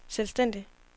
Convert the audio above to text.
selvstændig